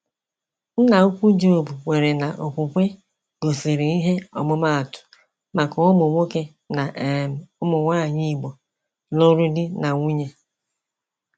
Nna ukwu Job kweere na okwukwe gosiri ihe ọmụmaatụ maka ụmụ nwoke na um ụmụ nwanyị Igbo lụrụ di na nwunye.